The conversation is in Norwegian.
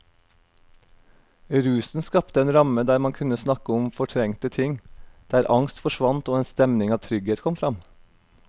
Rusen skapte en ramme der man kunne snakke om fortrengte ting, der angst forsvant og en stemning av trygghet kom fram.